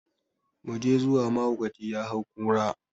mu je zuwa mahaukaci ya hau kura